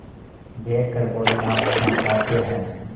देख कर बोलीआप क्या कहते हैं